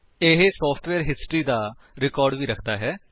ਇਹ software history ਦਾ record ਵੀ ਰੱਖਦਾ ਹੈ